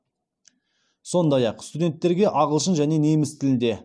сондай ақ студенттерге ағылшын және неміс тілінде